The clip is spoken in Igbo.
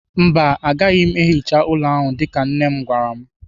Mba, agaghị m ehicha ụlọ ahụ dịka nne m gwara m.